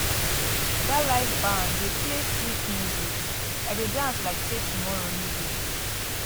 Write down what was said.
dat live band dey play sweet music i dey dance like sey tomorrow no dey